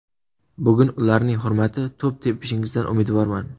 Bugun ularning hurmati to‘p tepishingizdan umidvorman!